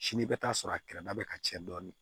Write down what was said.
Sini i bɛ taa sɔrɔ a kɛrɛda bɛ ka ca dɔɔnin